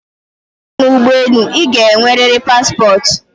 Tupu ị baa n'ugboelu, ị ga enweriri paspọt